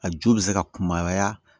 A ju bɛ se ka kunbaya